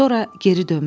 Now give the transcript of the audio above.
Sonra geri dönmüşdü.